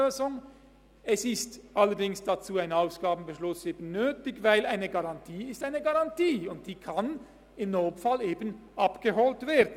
Allerdings ist dazu ein Ausgabenbeschluss nötig, denn eine Garantie ist eine Garantie, und diese kann im Notfall eben abgeholt werden.